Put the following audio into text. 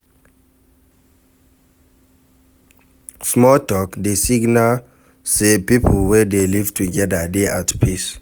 Small talk dey signal sey pipo wey dey live together dey at peace